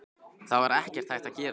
Það var ekkert hægt að gera.